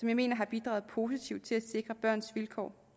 jeg mener har bidraget positivt til at sikre børns vilkår